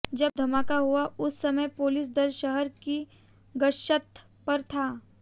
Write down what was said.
जब धमाका हुआ उस समय पुलिस दल शहर की गश्त पर था